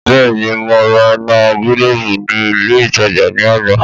Bẹ́ẹ̀ni! mo ra iná gílóòbù ní ilé ìtajà ní àná